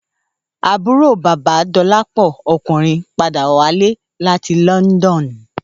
Àbúrò bàba Dolapo ọkùnrin padà wálé láti London